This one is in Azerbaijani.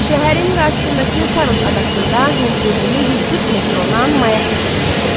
Şəhərin qarşısındakı Faros adasında hündürlüyü 140 metr olan mayak tikilmişdi.